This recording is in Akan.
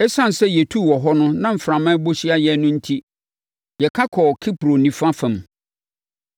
Esiane sɛ yɛtuu wɔ hɔ no na mframa bɔ hyia yɛn no enti, yɛka kɔɔ Kipro nifa fam.